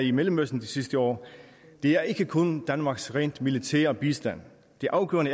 i mellemøsten de sidste år er ikke kun danmarks rent militære bistand det afgørende